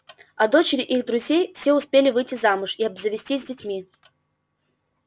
а дочери их друзей все успели выйти замуж и обзавестись детьми